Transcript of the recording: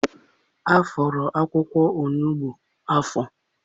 Afọrọ akwụkwọ onugbu ahụ afọ?